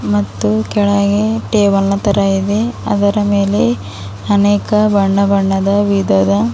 ಮತ್ತು ಕೆಳಗೆ ಟೇಬಲ್ ನ ತರ ಇದೆ ಅದರ ಮೇಲೆ ಅನೇಕ ಬಣ್ಣ ಬಣ್ಣದ ವಿಧದ--